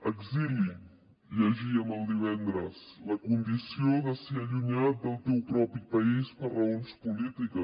exili llegíem divendres la condició de ser allunyat del teu propi país per raons polítiques